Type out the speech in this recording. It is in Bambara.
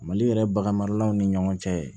Mali yɛrɛ bagan maralaw ni ɲɔgɔn cɛ